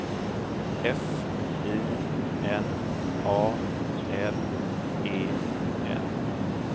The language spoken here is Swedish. F I N A L E N